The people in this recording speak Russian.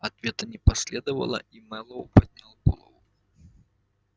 ответа не последовало и мэллоу поднял голову